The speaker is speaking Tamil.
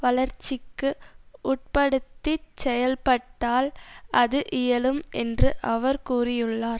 வளர்ச்சிக்கு உட்படுத்திச் செயல்பட்டால் அது இயலும் என்று அவர் கூறியுள்ளார்